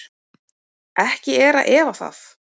Ekki er að efa það.